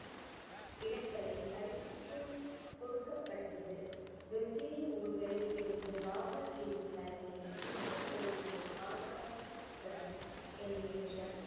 இடங்களில் அறிவிப்பு கொடுக்கப்பட்டது வெவ்வேறு ஊர்களில் இருந்து பாபாஜியின் தலைமையில் புனித கோவிலை பாதுகாக்க எண்ணற்ற